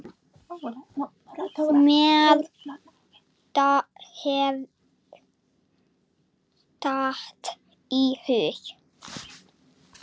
Mér datt í hug.